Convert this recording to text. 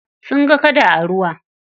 Sun ga kada a ruwa.